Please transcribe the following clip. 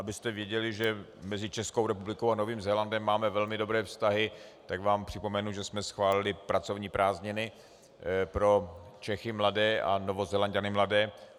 Abyste věděli, že mezi Českou republikou a Novým Zélandem máme velmi dobré vztahy, tak vám připomenu, že jsme schválili pracovní prázdniny pro Čechy mladé a Novozélanďany mladé.